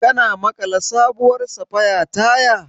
Ka maƙala sabuwar safaya tayar?